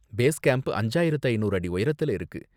Base camp அஞ்சாயிரத்து ஐநூறு அடி உயரத்துல இருக்கு.